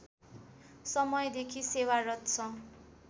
समयदेखि सेवारत छ